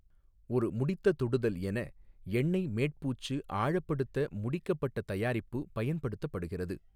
ஒரு முடித்த தொடுதல் என, எண்ணெய் மேட் பூச்சு ஆழப்படுத்த முடிக்கப்பட்ட தயாரிப்பு பயன்படுத்தப்படுகிறது.